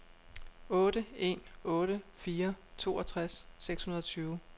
otte en otte fire toogtres seks hundrede og tyve